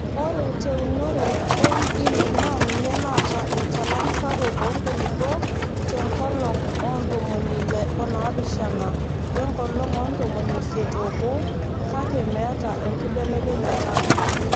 Ore teunore e MD naa ninye naata enchalan sapuk oo nkulupuok te nkolong oo ntomoni Ile oonaapishana wenkolong oo ntomonisiet oobo kake meeta enkibelekenyata.